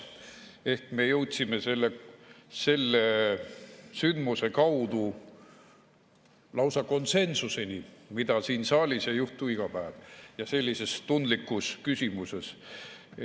Ehk me jõudsime selle sündmuse kaudu lausa konsensuseni, mida siin saalis ei juhtu iga päev, sellises tundlikus küsimuses.